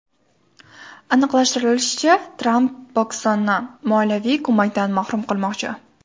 Aniqlashtirilishicha, Tramp Pokistonni moliyaviy ko‘makdan mahrum qilmoqchi.